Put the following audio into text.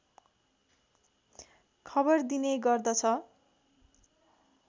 खबर दिने गर्दछ